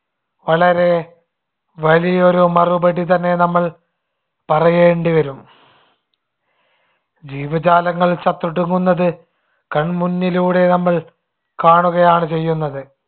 വളരെ വലിയൊരു മറുപടിതന്നെ നമ്മൾ പറയേണ്ടിവരും. ജീവജാലങ്ങൾ ചത്തൊടുങ്ങുന്നത് കൺമുന്നിലൂടെ നമ്മൾ കാണുകയാണ് ചെയ്യുന്നത്.